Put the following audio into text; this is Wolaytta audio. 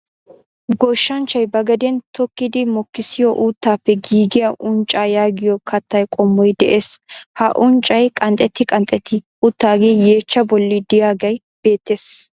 Goshshanchchay ba gaden tokkidi mokissiyoo uuttaappe giigiyaa unccaa yaagiyoo kattaa qommoy de'ees. ha unccay qanxxeti qanxxeti uttagee yeechchaa bolli de'iyaagee beettees.